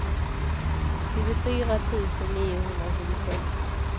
tjugofyra tusen niohundratjugosex